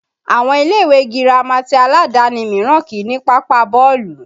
Àwọn ilé ìwé girama ti aládàáni míràn kìí ní pápá bọ́ọ̀lù